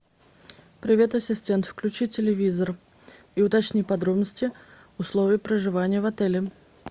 привет ассистент включи телевизор и уточни подробности условий проживания в отеле